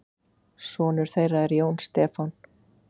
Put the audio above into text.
Sonur þeirra er Jón Stefán.